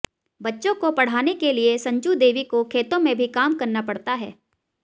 बच्चों को पढ़ाने के लिए संजू देवी को खेतों में भी काम करना पड़ता है